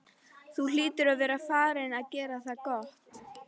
Þú hlýtur að vera farinn að gera það gott!